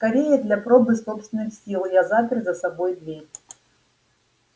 скорее для пробы собственных сил я запер за собой дверь